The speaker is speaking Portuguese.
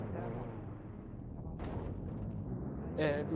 Mas era moda, estava na moda, você acha? É do,